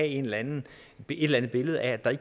eller andet billede af at der